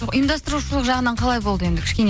ұйымдастырушылық жағынан қалай болды енді кішкене